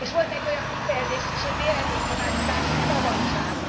És volt egy olyan kifejezés is, hogy véleménynyilvánítási szabadság.